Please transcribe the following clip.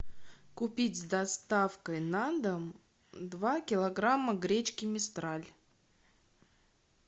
купить с доставкой на дом два килограмма гречки мистраль